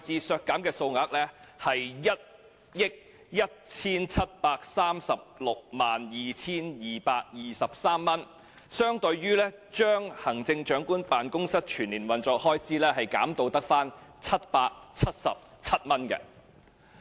削減的數額是 117,362,223 元，相當於將行政長官辦公室全年運作開支削減至只有777元。